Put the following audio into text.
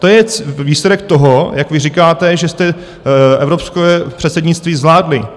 To je výsledek toho, jak vy říkáte, že jste evropské předsednictví zvládli.